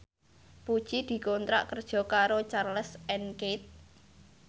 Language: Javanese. Puji dikontrak kerja karo Charles and Keith